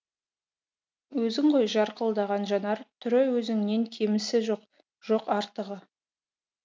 өзің ғой жарқылдаған жанар түрі өзіңнен кемісі жоқ жоқ артығы